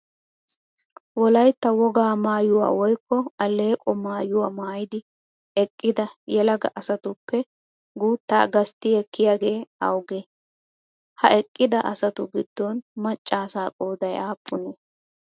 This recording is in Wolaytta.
Wolaytta wogaa maayuwaa woyikko alleeqo maayuwaa maaydi eqqida yelaga asatuppe guuttaa gastti ekkiyaagee awugee? Ha eqqida asatu giddon macca asaa qooday aappunee?